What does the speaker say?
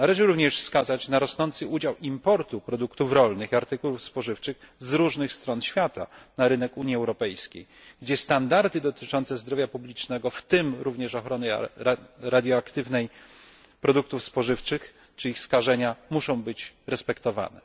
Należy również wskazać na rosnący udział importu produktów rolnych i artykułów spożywczych z różnych stron świata na rynek Unii Europejskiej, gdzie standardy dotyczące zdrowia publicznego w tym również ochrony radioaktywnej produktów spożywczych czy ich skażenia muszą być respektowane.